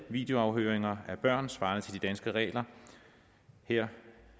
videoafhøringer af børn svarer til de danske regler her